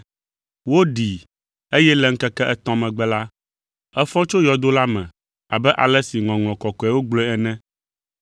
Woɖii eye le ŋkeke etɔ̃ megbe la, efɔ tso yɔdo la me abe ale si Ŋɔŋlɔ Kɔkɔeawo gblɔe ene.